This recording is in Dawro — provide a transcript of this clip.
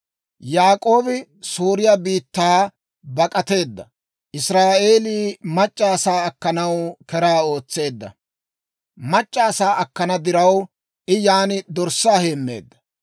Yaak'oobi Sooriyaa biittaa bak'ateedda; Israa'eelii mac'c'a asaa akkanaw keraa ootseedda. Mac'c'a asaa akkana diraw, I yan dorssaa heemmeedda.